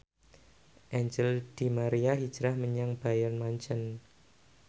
Angel di Maria hijrah menyang Bayern Munchen